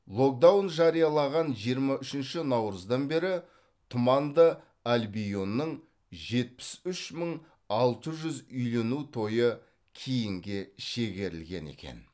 локдаун жариялаған жиырма үшінші наурыздан бері тұманды альбионның жетпіс үш мың алты жүз үйлену тойы кейінге шегерілген екен